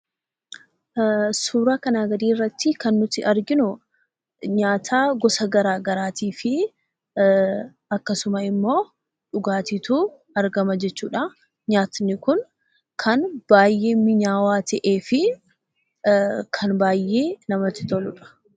Suuraa kanaa gadiirratti kan nuti arginuu nyaataa gosa garagaraatiifi akkasuma immoo dhugaatiitu argama jechuudha. Nyaatni kun kan baayyee mi'aawwaa ta'eefi kan baayyee namatti toludha.